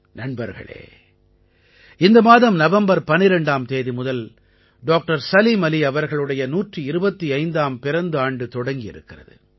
நண்பர்களே இந்த மாதம் நவம்பர் 12ஆம் தேதி முதல் டாக்டர் சலீம் அலி அவர்களுடைய 125ஆம் பிறந்த ஆண்டு தொடங்கி இருக்கிறது